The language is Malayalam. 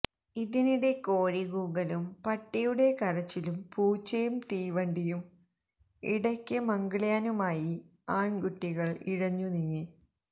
ഇതിനിടെ കോഴികൂകലും പട്ടിയുടെ കരച്ചിലും പൂച്ചയും തീവണ്ടിയും ഇടയ്ക്ക് മംഗള്യാനുമായി ആണ്കുട്ടികള് ഇഴഞ്ഞുനീങ്ങി